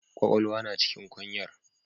Kwakwalwa na cikin kwanyar.